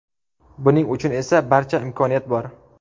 Buning uchun esa barcha imkoniyat bor!